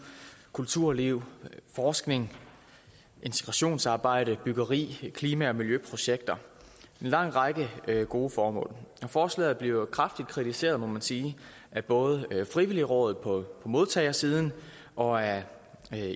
kulturliv forskning integrationsarbejde byggeri klima og miljøprojekter en lang række gode formål forslaget bliver kraftigt kritiseret må man sige af både frivilligrådet på modtagersiden og af